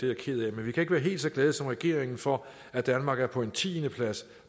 jeg ked af men vi kan ikke være helt så glade som regeringen for at danmark er på en tiendeplads